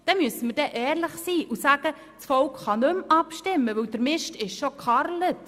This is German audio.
Dann müssen wir ehrlich sein und sagen, das Volk kann nicht mehr abstimmen, denn «dr Mischt isch scho gcharrlet».